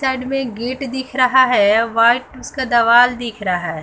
Side में एक gate दिख रहा है व्हाइट उसका दवाल दिख रहा है।